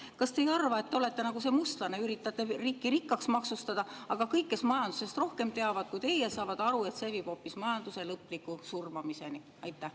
Kas te ei arva, et te olete nagu see mustlane, üritate riiki rikkaks maksustada, aga kõik, kes teavad majandusest rohkem kui teie, saavad aru, et see viib hoopis majanduse lõpliku surmamiseni?